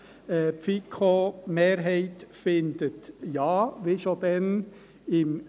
Die FiKo-Mehrheit findet Ja, wie schon damals 2017.